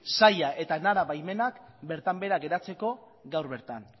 saia eta enara baimenak bertan behera geratzeko gaur bertan